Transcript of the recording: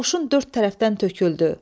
Qoşun dörd tərəfdən töküldü.